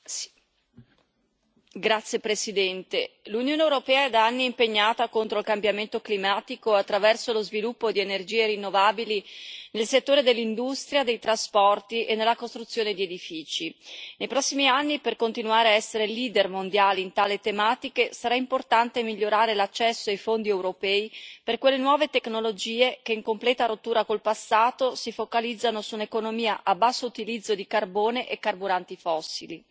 Signora Presidente, onorevoli colleghi, l'Unione europea è da anni impegnata contro il cambiamento climatico attraverso lo sviluppo di energie rinnovabili nel settore dell'industria, dei trasporti e nella costruzione di edifici. Nei prossimi anni, per continuare ad essere leader mondiali in tali tematiche, sarà importante migliorare l'accesso ai fondi europei per quelle nuove tecnologie che, in completa rottura col passato, si focalizzano su un'economia a basso utilizzo di carbone e carburanti fossili.